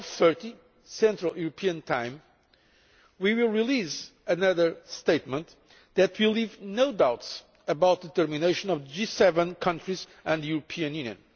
12.30 central European time, we will release another statement that will leave no doubts about the determination of G7 countries and the European Union.